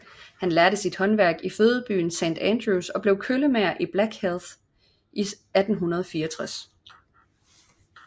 Han lærte sit håndværk i fødebyen St Andrews og blev køllemager i Blackheath i 1864